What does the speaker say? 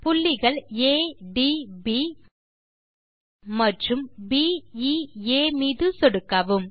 புள்ளிகள் ஆ ட் ப் மற்றும் ப் எ ஆ மீது சொடுக்கவும்